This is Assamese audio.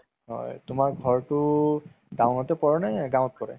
হয় তুমাৰ ঘৰতো town তে পৰে নে গাওত পৰে